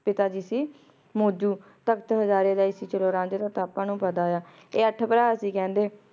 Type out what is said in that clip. ਪਿਤਾ ਜੀ ਸੀ ਮੋਜੋਜ ਤਖ਼ਤ ਹਜ਼ਾਰੇ ਦਾ ਈ ਸੀ ਜੇਰਾ ਰਾਂਝਾ ਦਾ ਪਾਪਾ ਨੂ ਪਤਾ ਆਯ ਆ ਆਯ ਅਠ ਪਰ ਸੀ ਕੇਹ੍ਨ੍ਡੇ